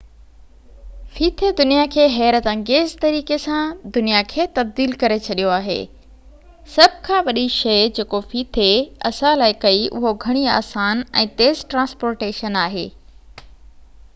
ڦيٿي دنيا کي حيرت انگيز طريقي سان دنيا کي تبديل ڪري ڇڏيو آهي سڀ کان وڏي شئي جيڪو ڦيٿي اسان لاءِ ڪئي اهو گهڻي آسان ۽ تيز ٽرانسپورٽيشن آهي